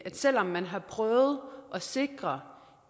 selv om man har prøvet at sikre